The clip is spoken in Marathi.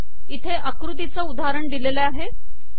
इथे अाकृतीचे उदाहरण येथे दिलेले आहे